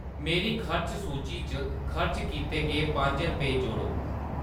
मेरी खर्च सूची च खर्च कीते गे पंज रपे जोड़ो